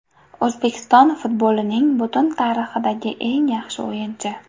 O‘zbekiston futbolining butun tarixidagi eng yaxshi o‘yinchi!!